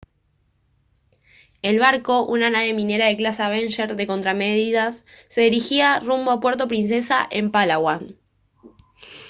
el barco una nave minera de clase avenger de contramedidas se dirigía rumbo a puerto princesa en palawan